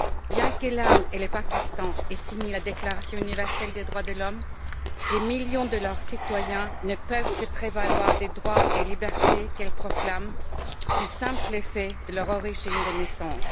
Bien que l'Inde et le Pakistan aient signé la Déclaration universelle des droits de l'homme, des millions de leurs citoyens ne peuvent se prévaloir des droits et libertés qu'elle proclame du simple fait de leur origine de naissance.